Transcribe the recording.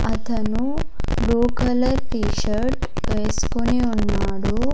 అతను blue colour T shirt వేస్కొని ఉన్నాడు.